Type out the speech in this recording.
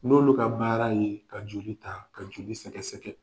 N'olu ka baara ye, ka joli ta, ka joli sɛgɛsɛ.